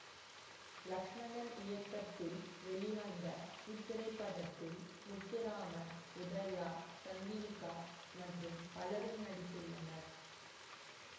லக்ஸ்மணன் இயக்கத்தில் வெளிவந்த இத்திரைப்படத்தில் முத்துராமன் உதயா சந்திரிக்கா மற்றும் பலரும் நடித்துள்ளனர்